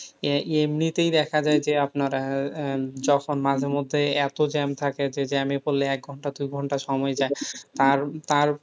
আহ এমনিতেই দেখা যায় যে আপনার আহ যখন মাঝে মধ্যে এত jam থাকে যে jam এ পড়লে একঘন্টা দুইঘন্টা সময় যায়। আর তার,